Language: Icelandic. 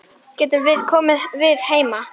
Getum við komið við heima?